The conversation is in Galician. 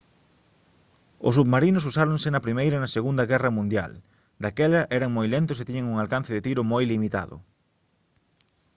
os submarinos usáronse na primeira e na segunda guerra mundial daquela eran moi lentos e tiñan un alcance de tiro moi limitado